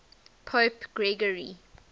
pope gregory